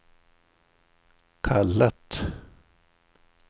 kallat